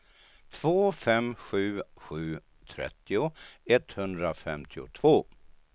två fem sju sju trettio etthundrafemtiotvå